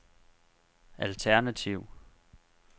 alternativ